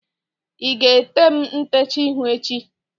ị ga-ete m ntecha ihu echi?